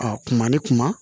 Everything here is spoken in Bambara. A kuma ni kuma